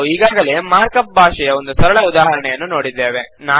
ನಾವು ಈಗಾಗಲೇ markup ಭಾಷೆಯ ಒಂದು ಸರಳ ಉದಾಹರಣೆಯನ್ನು ನೋಡಿದ್ದೇವೆ